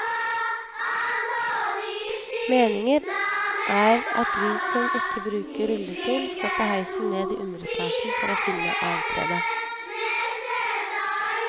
Meningen er at vi som ikke bruker rullestol, skal ta heisen ned i underetasjen for å finne avtrede.